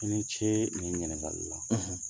I ni ce ni ɲiningali la